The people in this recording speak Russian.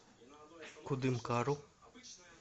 кудымкару